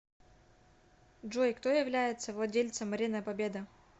джой кто является владельцем арена победа